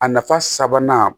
A nafa sabanan